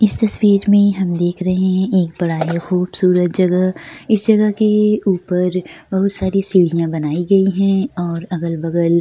इस तस्वीर में हम देख रहे हैं एक बड़ा ही खूबसूरत जगह इस जगह के ऊपर बहुत सारी सीढ़ियाँ बनाई गई है और अगल-बगल --